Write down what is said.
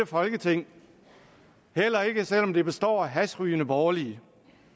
folketing heller ikke selv om det består af hashrygende borgerlige